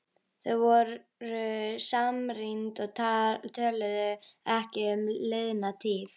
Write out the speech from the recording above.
Þau voru samrýnd og töluðu ekki um liðna tíð.